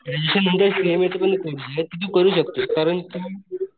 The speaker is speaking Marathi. सिएनए चे पण कॉर्से ते तू करू शकतो कारण तू